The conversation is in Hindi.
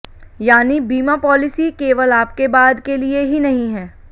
यानी बीमा पॉलिसी केवल आपके बाद के लिए ही नहीं है